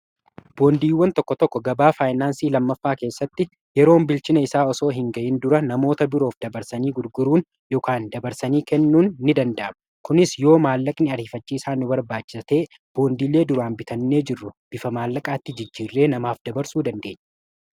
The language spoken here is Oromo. Boondiiwwan tokko tokko gabaa faayinaansii lammaffaa keessatti yeroon bilchina isaa osoo hin ga'in dura namoota biroof dabarsanii gurguruun yookaan dabarsanii kennuun ni danda'ama. Kunis yoo maallaqni ariifachiiisaan nu barbaachisa ta'e boondiilee duraan bitannee jirru bifa maallaqaatti jijjiirree namaaf dabarsuu dandeenya.